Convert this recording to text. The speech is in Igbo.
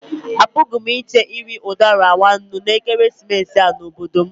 Apụghị m iche iri udara nwa nnú na ekeresimesi a n'obodo m.